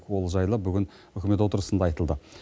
ол жайлы үкімет отырысында айтылды